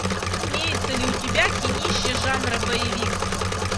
имеется ли у тебя кинище жанра боевик